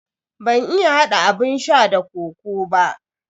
Ban iya hada abun sha da kokoo ba.